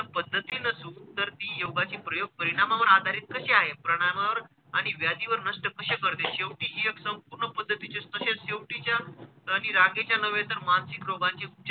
पद्धती नसून तर ती योगाची प्रयोग परिणामावर आधारित कशी आहे? परिणामावर आणि व्याधीवर नष्ट कशे करते शेवटी हि एक संपूर्ण पद्धतीचेच तसेच शेवटीच्या आणि रागेच्या नव्हे तर मानसिक रोगाची,